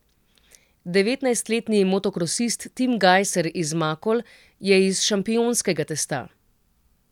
Devetnajstletni motokrosist Tim Gajser iz Makol je iz šampionskega testa.